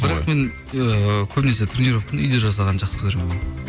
бірақ мен ыыы көбінесе тренровканы үйде жасағанды жақсы көремін